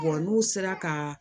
n'u sera ka